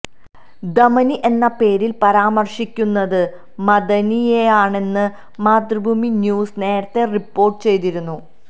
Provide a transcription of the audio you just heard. ദമനി എന്ന പേരില് പരാമര്ശിക്കുന്നത് മഅദനിയെയാണെന്ന് മാതൃഭൂമി ന്യൂസ് നേരത്തെ റിപ്പോര്ട്ടു ചെയ്തിരുന്നു